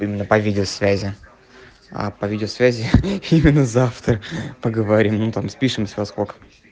именно по видеосвязи а по видеосвязи именно завтра поговорим ну там спишемся во сколько